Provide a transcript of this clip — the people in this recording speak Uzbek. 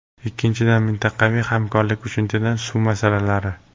Ikkinchidan, mintaqaviy hamkorlik, uchinchidan suv masalalari.